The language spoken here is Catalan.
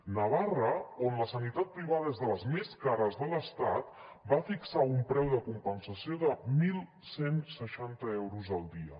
navarra on la sanitat privada és de les més cares de l’estat va fixar un preu de compensació de onze seixanta euros al dia